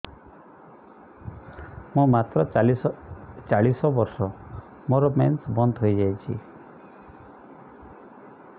ମୁଁ ମାତ୍ର ଚାଳିଶ ବର୍ଷ ମୋର ମେନ୍ସ ବନ୍ଦ ହେଇଯାଇଛି